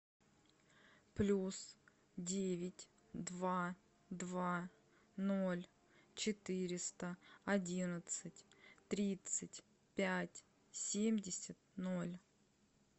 плюс девять два два ноль четыреста одиннадцать тридцать пять семьдесят ноль